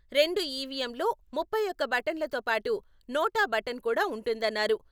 రెండు ఈవీఎంల్లోముప్పై ఒకటి బటన్లతో పాటు నోటా బటన్ కూడా ఉంటుందన్నారు.